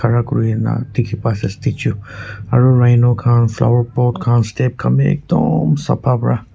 khara kuri na dikhi pai ase statue aro rhino khan flower pot khan step khan b ekdom sapha pra--